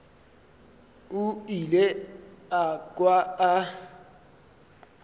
o ile a kwa a